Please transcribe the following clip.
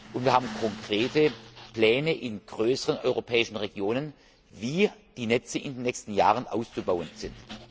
Und wir haben konkrete Pläne in größeren europäischen Regionen, wie die Netze in den nächsten Jahren auszubauen sind.